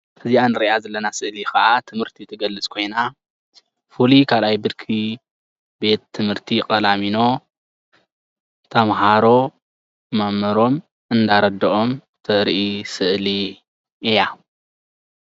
ናይ ቀላሚኖ ተመሃሮ እንዳተረድኡ ወይ እንዳ ተመሃሩ የርኢ።